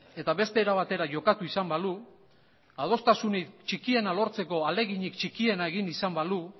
eta beste era batera jokatu izan balu adostasunik txikiena lortzeko ahaleginik txikiena egin izan balu